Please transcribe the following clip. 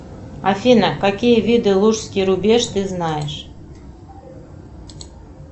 афина какие виды лужский рубеж ты знаешь